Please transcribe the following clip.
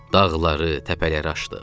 Dağları, təpələri aşdıq.